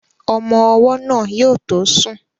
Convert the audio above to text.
Ọmọ́ ọwọ́ náà yóò tó sùn